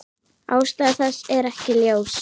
Ástæða þess er ekki ljós.